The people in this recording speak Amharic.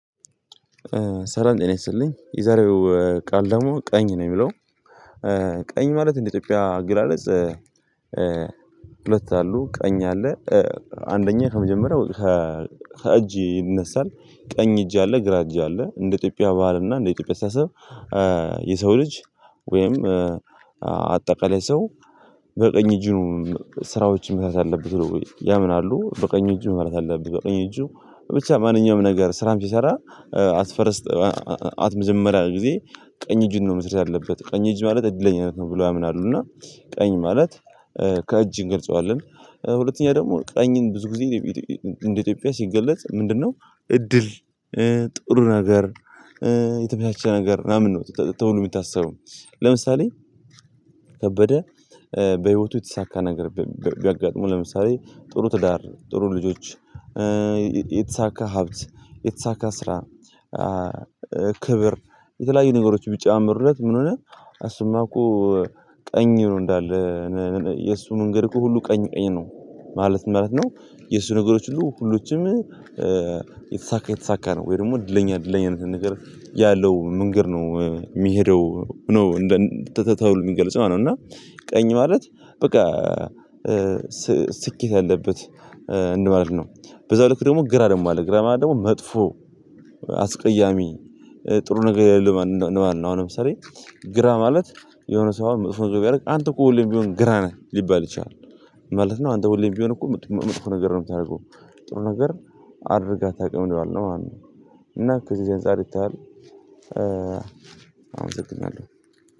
ሰላም ጤና ይስጥልኝ። የዛሬው ቃል ደግሞ ቀኝ ነው የሚለው። ቀኝ ማለት እንደ ኢትዮጵያ አገላለጽ። ሁለት አሉ ቀኝ አለ። አንደኛ ከመጀመሪያው ከ እጅ ይነሳል። ቀኝ እጅ አለ ግራ እጅ አለ እንደ ኢትዮጵያ ባህል እና እንደ ኢትዮጵያ አስተሳሰብ። የሰው ልጅ ወይም አጠቃላይ ሰው በቀኝ እጁ ነው። ስራዎችን መስራት ያለበት ብለው ያምናሉ በቀኝ እጁ መብላት አለብህ በቀኙ እጁ ብቻ ማንኛውም ነገር ስራም ሲሰራ አት ፈርስት። አት መጀመሪያ ጊዜ ቀኝ እጁን ነው መስራት ያለበት ቀኝ እጅ ማለት እድለኛነት ነው ብለው ያምናሉ። እና ቀኝ ማለት ከእጅ እንገልጸዋለን። ሁለተኛ ደግሞ ቀኝን ብዙ ጊዜ እንደ ኢትዮጵያ ሲገለጽ ምንድነው? እድል ጥሩ ነገር የተመቻቸ ነገር ምናምን ነው ተብሎ የሚታስበው። ለምሳሌ። ከበደ በህይወቱ የተሳካ ነገር ቢያጋጥሙው ለምሳሌ ጥሩ ትዳር ጥሩ ልጆች። የተሳካ ሀብት የተሳካ ስራ። ክብር የተለያዩ ነገሮች ቢጨማመሩለት ምን ሆነ? አሱማኮ ቀኝ ነው እንዳለ። የእሱ መንገድ እኮ ሁሉ ቀኝ ቀኝ ነው ማለት ምን ማለት ነው? የእሱ ነገሮች ሁሉ ሁሎችም የተሳካ የተሳካ ነው። ወይ ደግሞ እድለኛ እድለኛነትን ነገር ያለው መንገድ ነው የሚሄደው ነው እንደ ተ ተብሎ የሚገልጸው ነው። እና ቀኝ ማለት በቃ ስኬት ያለበት እንደማለት ነው። በዛው ልክ ደግሞ ግራ ደግሞ አለ ግራ ማለት ደግሞ መጥፎ አስቀያሚ ጥሩ ነገር የለም እንደማለት ነው። አሁን ለምሳሌ ግራ ማለት የሆነ ሰው አሁን መጥፎ ነገር ቢያደርግ አንተ እኮ ሁሌም ቢሆን ግራ ነህ ሊባል ይችላል። ምን ማለት ነው? አንተ ሁሌም ቢሆን እኮ መጥፎ ነገር ነው የምታደርገው ጥሩ ነገር አድርገህ አታቅም እንደማለት ነው ማለት ነው። እና ከዚህ አንፃር ይታያል። አመሰግናለሁ